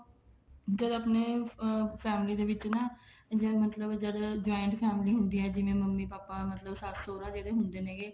ਜਦ ਆਪਣੇ family ਏ ਵਿੱਚ ਨਾ ਜਿਵੇਂ ਮਤਲਬ ਜਦੋਂ joint family ਹੁੰਦੀ ਆ ਜਿਵੇਂ ਮੰਮੀ ਪਾਪਾ ਮਤਲਬ ਸੱਸ ਸੋਹਰਾ ਜਿਹੜੇ ਹੁੰਦੇ ਨੇ ਹੈਗੇ